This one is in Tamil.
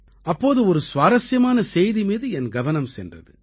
அப்போது ஒரு சுவாரசியமான செய்தி மீது என் கவனம் சென்றது